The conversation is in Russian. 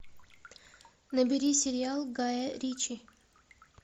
набери сериал гая ричи